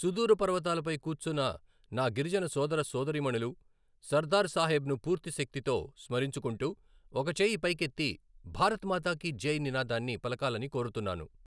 సుదూర పర్వతాలపై కూర్చున్ననా గిరిజన సోదర సోదరీమణులు సర్దార్ సాహెబ్ను పూర్తి శక్తితో స్మరించుకుంటూ ఒక చేయి పైకి ఎత్తి భారత్ మాతాకి జై నినాదాన్ని పలకాలని కోరుతున్నాను.